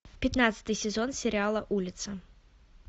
пятнадцатый сезон сериала улица